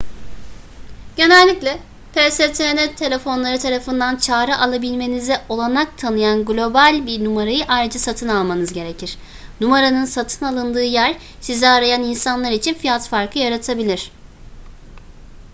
genellikle pstn telefonları tarafından çağrı alabilmenize olanak tanıyan global bir numarayı ayrıca satın almanız gerekir numaranın satın alındığı yer sizi arayan insanlar için fiyat farkı yaratabilir